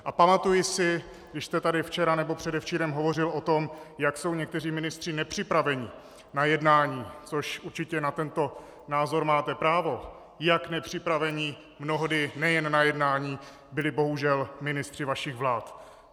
A pamatuji si, když jste tady včera nebo předevčírem hovořil o tom, jak jsou někteří ministři nepřipraveni na jednání, což určitě na tento názor máte právo, jak nepřipraveni mnohdy nejen na jednání byli, bohužel, ministři vašich vlád.